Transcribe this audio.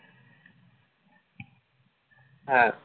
হ্যাঁ